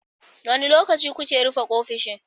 Wane lokaci kuke rufe ofishin?